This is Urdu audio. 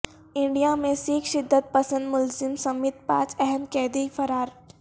انڈیا میں سکھ شدت پسند ملزم سمیت پانچ اہم قیدی فرار